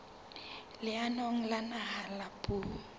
leanong la naha la puo